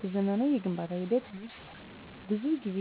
በዘመናዊ የግንባታ ሂደቶች ውስጥ ብዙ ጊዜ